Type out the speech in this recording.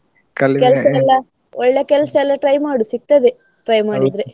ಒಳ್ಳೆ ಕೆಲ್ಸಯೆಲ್ಲ try ಮಾಡು ಸಿಗ್ತದೆ. try ಮಾಡಿದ್ರೆ.